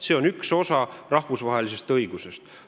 See on üks osa rahvusvahelisest õigusest.